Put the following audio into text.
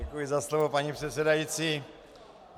Děkuji za slovo, paní předsedající.